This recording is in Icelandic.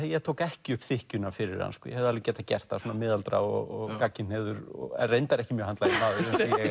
ég tók ekki upp þykkjuna fyrir hann ég hefði alveg getað gert það svona miðaldra og gagnkynhneigður en reyndar ekki mjög handlaginn maður